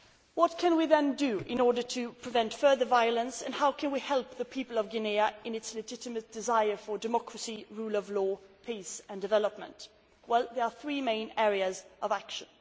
What can we do, then, to prevent further violence, and how can we help the people of Guinea in their legitimate desire for democracy, the rule of law, peace and development? Well, there are three main areas of action.